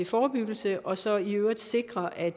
forebyggelse og så i øvrigt sikre at